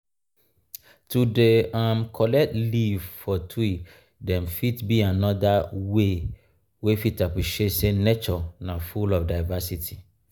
to dey um collect leave for tree dem fit be another um way wey fit appreciate sey nature na full of diversity.